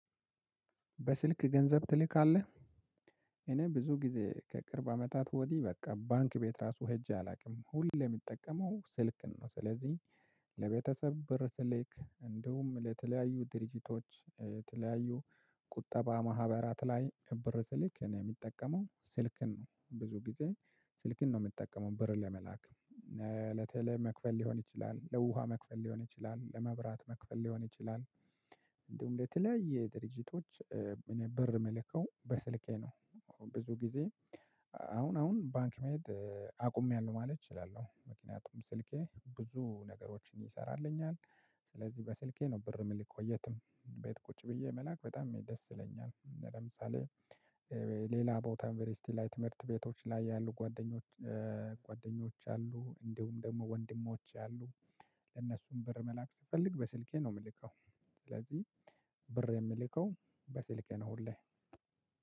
በስልክ ገንዘብ ትልካለህ እኔ ብዙ ጊዜ ከቅርብ አመታት ወዲህ በቃ ባንክ ቤት ራሱ ሄጄ አላቅም ሁሌ ምጠቀመው ስልክን ነው። ስለዚህ ለቤተሰብ ብር ስልክ እንዲሁም ለተለያዩ ድርጅቶች የተለያዩ ቁጠባ ማህበራት ላይ ብር ስልክ እኔ ምጠቀመው ስልክን ነው ብዙ ጊዜ ስልክን ነው ምጠቀመው ብር ለመላክ። ለቴሌ መክፈል ሊሆን ይችላል ለውሃ መክፈል ሊሆን ይችላል ለመብራት መክፈል ሊሆን ይችላል እንዲሁም ለተለያየ ድርጅቶች እኔ ብር ምለከው በስልኬ ነው። ብዙ ጊዜ አሁን አሁን ባንክ መሄድ አቁሜያለሁ ማለት እችላለሁ ምክንያቱም ስልኬ ብዙ ነገሮችን ይሰራልኛል። ስለዚህ በስልኬ ነው ብር ምልከው የትም ቤት ቁጭ ብዬ መላክ በጣም እኔ ደስ ይለኛል። ለምሳሌ ሌላ ቦታ ዩንቨርስቲ ላይ ትምህርት ቤቶች ላይ ያሉ ጓደኞች። ጓደኞች አሉ እንዲሁም ደግሞ ወንድሞች አሉ። ለነሱም ብር መላክ ስፈልግ በስልኬ ነው ምልከው። ስለዚህ ብር የምልከው በስልኬ ነው ሁሌ